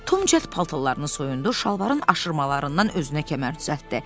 Tom cəld paltarlarını soyundu, şalvarın aşırmalarından özünə kəmər düzəltdi.